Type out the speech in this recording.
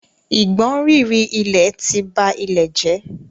Ìgbọ̀nrìrì ilẹ̀ ti ba ilẹ̀ jẹ́.